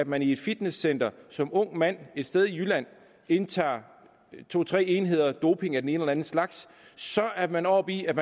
man i et fitnesscenter som ung mand et sted i jylland indtager to tre enheder doping af den ene eller anden slags så er man oppe i at